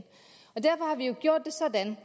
derfor har vi jo gjort det sådan